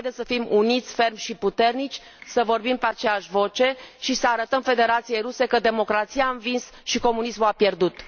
Haideți să fim uniți, fermi și puternici, să vorbim pe aceeași voce și să arătăm Federației Ruse că democrația a învins și comunismul a pierdut!